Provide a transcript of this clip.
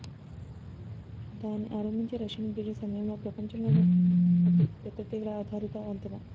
దాని ఆరంభించే Russian bridge సమయంలో ప్రపంచంలోనే అతి పెద్ద తీగల ఆధారిత వంతెన